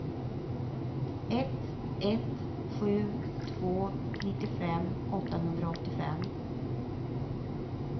ett ett sju två nittiofem åttahundraåttiofem